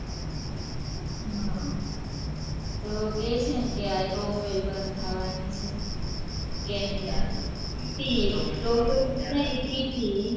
હ તો કે છે ને તો અ top tail બંદ થવાની છે Canada ની